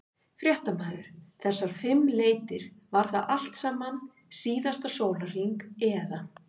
Fréttamaður: Þessar fimm leitir, var það allt saman síðasta sólarhring eða?